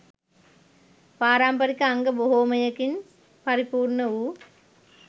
පාරම්පරික අංග බොහොමයකින් පරිපුර්ණ වූ